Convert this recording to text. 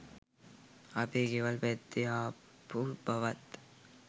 අපේ ගෙවල් පැත්තෙ ආපු බවත්